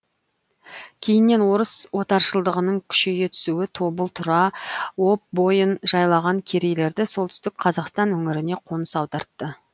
кейіннен орыс отаршылдығының күшейе түсуі тобыл тұра об бойын жайлаған керейлерді солтүстік қазақстан өңіріне қоныс аудартты